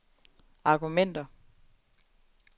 argumenter